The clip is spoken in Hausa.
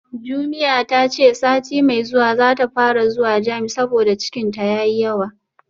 Jumia tace sati mai zuwa zata fara zuwa gym saboda cikinta yayi yawa